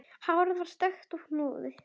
Hárið er stökkt og húðin.